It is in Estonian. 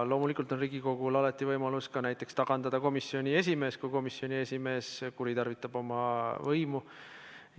Loomulikult on Riigikogul alati võimalus ka tagandada komisjoni esimees, kui komisjoni esimees kuritarvitab oma võimu.